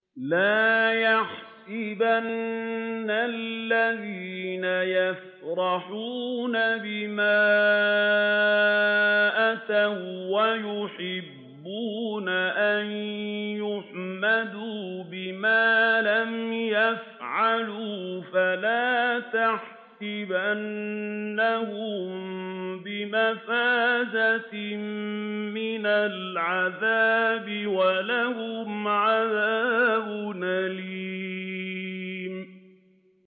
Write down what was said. لَا تَحْسَبَنَّ الَّذِينَ يَفْرَحُونَ بِمَا أَتَوا وَّيُحِبُّونَ أَن يُحْمَدُوا بِمَا لَمْ يَفْعَلُوا فَلَا تَحْسَبَنَّهُم بِمَفَازَةٍ مِّنَ الْعَذَابِ ۖ وَلَهُمْ عَذَابٌ أَلِيمٌ